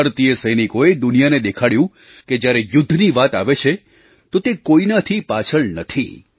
ભારતીય સૈનિકોએ દુનિયાને દેખાડ્યું કે જ્યારે યુદ્ધની વાત આવે છે તો તે કોઈનાથી પાછળ નથી